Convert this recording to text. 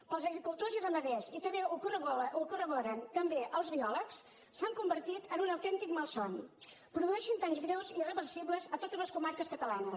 per als agricultors i ramaders i també ho corroboren també els biòlegs s’han convertit en un autèntic malson produeixen danys greus irreversibles a totes les comarques catalanes